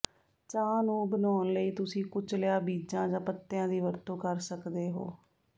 ਚਾਹ ਨੂੰ ਬਣਾਉਣ ਲਈ ਤੁਸੀਂ ਕੁਚਲਿਆ ਬੀਜਾਂ ਜਾਂ ਪੱਤਿਆਂ ਦੀ ਵਰਤੋਂ ਕਰ ਸਕਦੇ ਹੋ